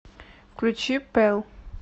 включи пелл